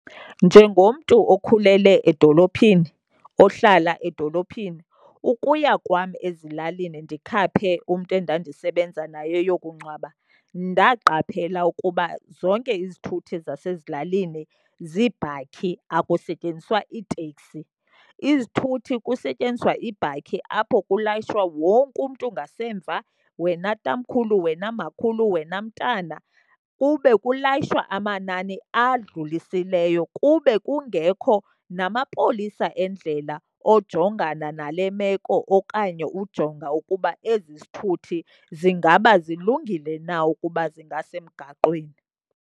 Njengomntu okhulele edolophini, ohlala edolophini, ukuya kwam ezilalini ndikhaphe umntu endandisebenza naye eyokungcwaba ndaqaphela ukuba zonke izithuthi zasezilalini ziibhakhi, akusetyenziswa zitekisi. Izithuthi kusetyenziswa iibhakhi apho kulayishwa wonke umntu ngasemva, wena tamkhulu, wena makhulu, wena mntana. Kube kulayishwa amanani adlulisileyo, kube kungekho namapolisa endlela ojongana nale meko okanye ujonga ukuba ezi zithuthi zingaba zilungile na ukuba zingasemgaqweni.